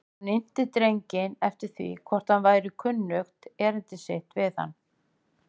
Hann innti drenginn eftir því hvort honum væri kunnugt erindi sitt við hann.